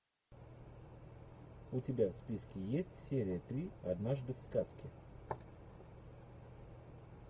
у тебя в списке есть серия три однажды в сказке